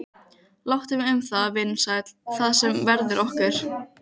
Láttu mig um það, vinur sæll, það sem verður okkur